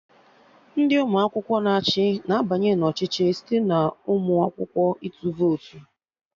Ndị ụmụ akwụkwọ na achị na-abanye na ọchịchị site n'ụmụ akwụkwọ ịtụ votu